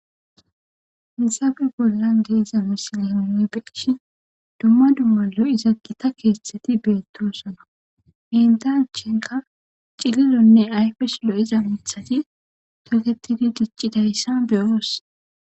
Haysappe bollan diza misile nuni beyishn duma duma lo'iza gitta kethati betosona enta achanka cililone ayfes lo'iza mithati toketidi dicidaysa beyos.